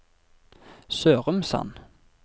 Sørumsand